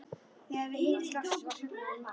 Þegar við hittumst loksins var klukkan orðin margt.